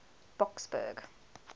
boksburg